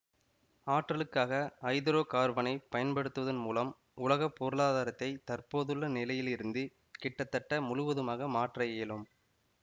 ஆற்றலுக்காக ஐதரோகார்பனைப் பயன்படுத்துவதன் மூலம் உலக பொருளாதாரத்தை தற்போதுள்ள நிலையிலிருந்து கிட்டத்தட்ட முழுவதுமாக மாற்ற இயலும்